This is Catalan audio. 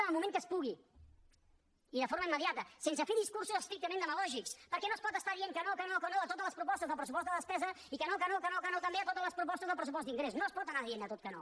en el moment que es pugui i de forma immediata sense fer discursos estrictament demagògics perquè no es pot estar dient que no que no que no a totes les propostes del pressupost de despesa i que no que no que no també a totes les propostes del pressupost d’ingrés no es pot anar dient a tot que no